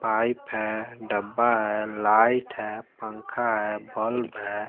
Pipe हैं डब्बा हैं लाइट हैं पंखा हैं बल्ब हैं।